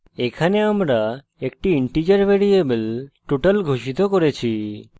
এখানে আমরা একটি integer ভ্যারিয়েবল total ঘোষিত করেছি